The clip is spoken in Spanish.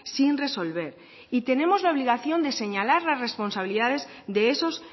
sin resolver y tenemos la obligación de señalar las responsabilidades de esos